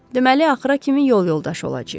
Deməli axıra kimi yol yoldaşı olacağıq.